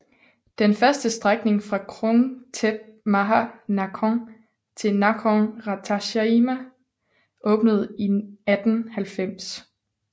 Den første strækning fra Krung Thep Maha Nakhon til Nakhon Ratchasima åbnede i 1890